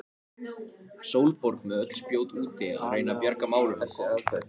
Sólborg með öll spjót úti að reyna að bjarga málunum.